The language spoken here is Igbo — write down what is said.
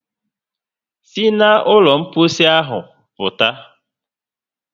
Sí na ụlọ mposi ahụ pụta!